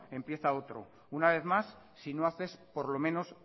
empieza otro una vez más si no haces por lo menos